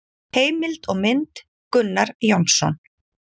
Heimild og mynd: Gunnar Jónsson.